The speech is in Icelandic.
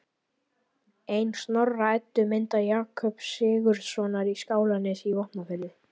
Ein Snorra-Eddu mynda Jakobs Sigurðssonar í Skálanesi í Vopnafirði